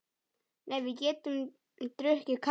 Nei, við getum drukkið kaffi.